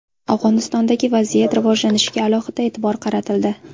Afg‘onistondagi vaziyat rivojlanishiga alohida e’tibor qaratildi.